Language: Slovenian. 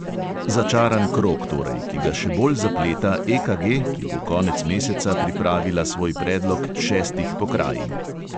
Začaran krog torej, ki ga še bolj zapleta EKG, ki bo konec meseca pripravila svoj predlog šestih pokrajin.